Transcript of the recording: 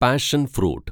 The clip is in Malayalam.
പാഷന്‍ ഫ്രൂട്ട്